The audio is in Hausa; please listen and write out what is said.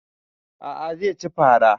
A'a zai ci fara